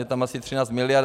Je tam asi 13 mld.